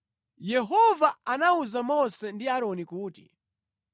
“Yehova anawuza Mose ndi Aaroni kuti,